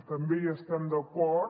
també hi estem d’acord